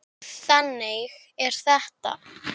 þannig er þetta